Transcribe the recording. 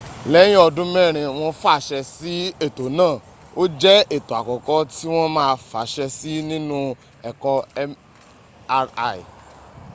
lẹ́yìn ọdún mẹ́rin wọ́n fàṣe sí ẹ̀tọ́ náà ó jẹ́ ẹ̀tọ́ àkọ́kọ́ tí wọ́n ma fàṣę sí nínú ẹ̀kọ mri